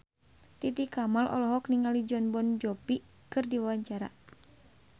Titi Kamal olohok ningali Jon Bon Jovi keur diwawancara